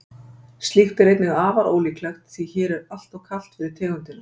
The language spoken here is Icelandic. Slíkt er einnig afar ólíklegt því hér er alltof kalt fyrir tegundina.